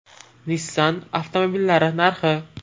Nissan avtomobillari narxi.